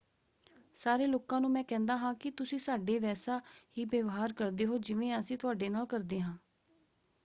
ਸਾਰੇ ਲੋਕਾਂ ਨੂੰ ਮੈਂ ਕਹਿੰਦਾ ਹਾਂ ਕਿ ਤੁਸੀਂ ਸਾਡੇ ਵੈਸਾ ਹੀ ਵਿਵਹਾਰ ਕਰਦੇ ਹੋ ਜਿਵੇਂ ਅਸੀਂ ਤੁਹਾਡੇ ਨਾਲ ਕਰਦੇ ਹਾਂ।